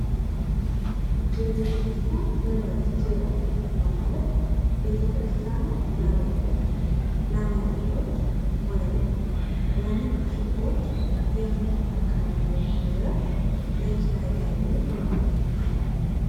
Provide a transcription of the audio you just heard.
የቤተክርስቲያን ንብረት ኪራይ ነው ማለት ቤተክርስቲያን ለቤቶች ፣ለመሬቶች ወይም ለንግድ ሱቆች የምታከራየው ንብረት የኪራይ ገቢ በመባል ይታወቃል።